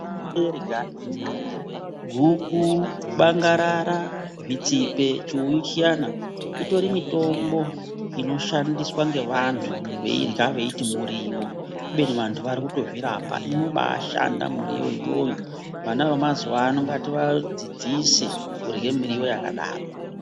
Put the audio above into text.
Meirya, guku, bangarara, zvitsine, chiuyu chiyana itori mitombo inoshandiswa ngevanthu veirya veiti miriwo kubeni vanthu vatori kuzvirapa. Inobashanda miriwo iyoyo, vana vemazuvaano ngativadzidzise kurye miriwo yakadaro.